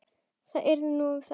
Hvað yrði nú um þá?